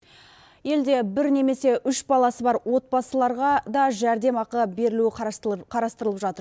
елде бір немесе үш баласы бар отбасыларға да жәрдемақы берілуі қарастырылып жатыр